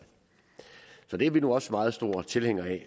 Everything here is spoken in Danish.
som ordfører er vi nu også meget store tilhængere af